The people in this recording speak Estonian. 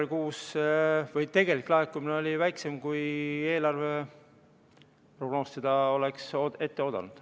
Jaanuaris-veebruaris oli tegelik laekumine väiksem, kui eelarve prognoosi järgi seda oleks oodatud.